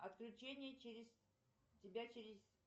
отключение через тебя через